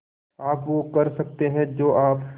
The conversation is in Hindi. आप वो कर सकते हैं जो आप